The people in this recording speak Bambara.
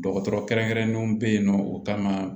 Dɔgɔtɔrɔ kɛrɛnkɛrɛnnenw bɛ yen nɔ u kama